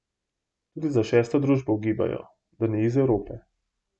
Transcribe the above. Tudi za šesto družbo ugibajo, da ni iz Evrope.